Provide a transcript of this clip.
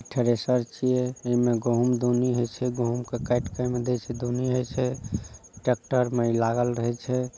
thresher छिये | ऐमे गोहुम दोनी होय छै | गोहुम के काट के एमें दोनी होय छै| ट्रैक्टर में इ लागल रहे छै |